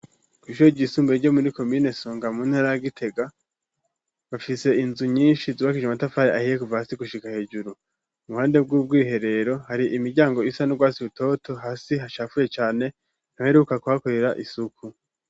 Kw'ishuri ryisumbuye ryo muri Komine songa muntara Gitega , bafise inzu nyinshi zubakije Amatafari ahiye ,kuva hasi gushika hejuru, Uruhande bw'ubwiherero hari Imiryango isa n'ubwatsi butoto, hasi hashafuye cane ntibaheruka kuhakorera isuku.